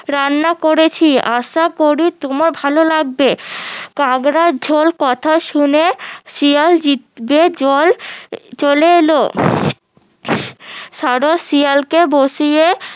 রান্না করেছি আশা করি তোমার ভালো লাগবে কাঁকড়ার ঝোল কথা শুনে শিয়াল জিভে জল চলে এলো সারস শিয়ালকে বসিয়ে